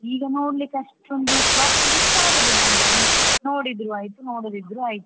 ಈಗ ನೋಡ್ಲಿಕ್ಕೆ ಅಷ್ಟೊಂದು ಇಷ್ಟ ಆಗುದಿಲ್ಲ ಅಂತ ನೋಡಿದ್ರು ಆಯ್ತು ನೋಡದಿದ್ರೂ ಆಯ್ತು.